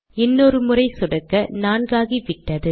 இன்னொரு முறை சொடுக்க 4 ஆகிவிட்டது